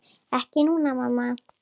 Ekki núna, mamma.